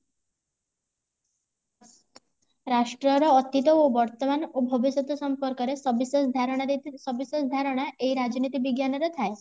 ରାଷ୍ଟ୍ର ର ଅତୀତ ଓ ବର୍ତମାନ ଓ ଭବିଷ୍ୟତ ସମ୍ପର୍କ ରେ ସବିଶେଷ ଧାରଣା ଦେଇଥିବେ ସବିଶେଷ ଧାରଣା ଏହି ରାଜନୀତି ବିଜ୍ଞାନ ରେ ଥାଏ